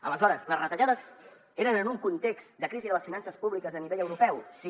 aleshores les retallades eren en un context de crisi de les finances públiques a nivell europeu sí